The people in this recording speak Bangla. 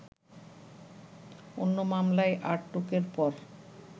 অন্য মামলায় আটকের পর